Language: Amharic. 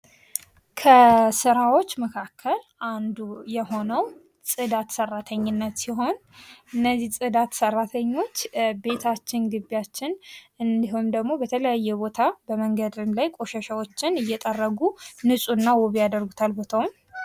ከስራዎች መካከል አንዱ የሆነው ፆዳት ሰራተኝነት ሲሆን እነዚህ ፃዳት ሰራተኞች ቤታችን፣ ግቢያች እንዲሁም ደግሞ በተለያዩ ቦታ በመንገድም ላይ ቆሻሻወችን እየጠረጉ ንጹህና ዉብ ያደርጉታል ቦታውን ።